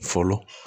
Fɔlɔ